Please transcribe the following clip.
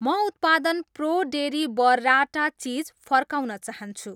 म उत्पादन pro dairy burrata cheese फर्काउन चाहन्छु